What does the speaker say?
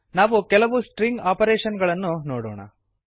ನಾವು ಕೆಲವು string operations ಗಳನ್ನು ನೋಡೋಣ